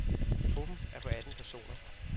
Truppen er på atten personer.